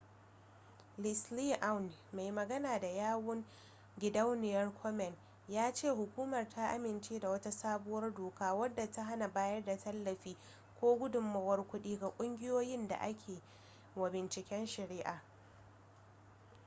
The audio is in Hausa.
leslie aun mai magana da yawun gidauniyar komen ya ce hukumar ta amince da wata sabuwar doka wadda ta hana bayar da tallafi ko gudunmuwar kuɗi ga ƙungiyoyin da ake wa bunciken shari'a